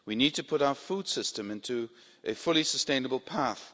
We need to put our food system onto a fully sustainable path.